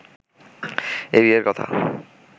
এই বিয়ের কথা